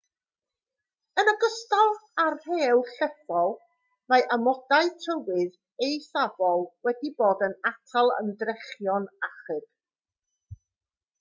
yn ogystal â'r rhew llethol mae amodau tywydd eithafol wedi bod yn atal ymdrechion achub